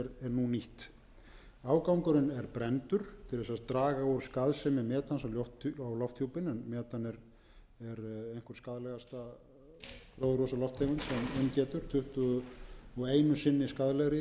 nýtt nú afgangurinn er brenndur til að draga úr skaðsemi metans á lofthjúpinn en metan er einhver skaðlegasta gróðurhúsalofttegund sem um getur um tuttugu og einu sinni skaðlegri